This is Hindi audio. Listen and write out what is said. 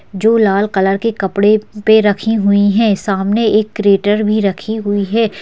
जो लाल कलर के कपड़े पे रखी हुई है सामने एक क्रेटर भी रखी हुई है।